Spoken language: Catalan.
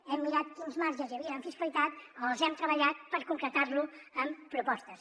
hem mirat quins marges hi havia en fiscalitat els hem treballat per concretar ho amb propostes